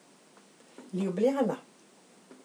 Ljubljana.